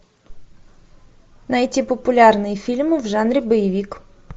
найти популярные фильмы в жанре боевик